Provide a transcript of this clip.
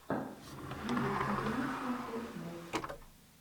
видеокомпиляция фортнайт